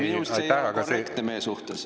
Minu meelest see ei ole korrektne meie suhtes.